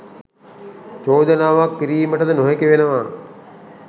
චෝදනාවක් කිරීමටද නොහැකි වෙනවා.